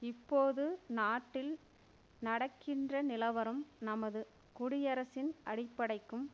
இப்போது நாட்டில் நடக்கின்ற நிலவரம் நமது குடியரசின் அடிப்படைக்கும்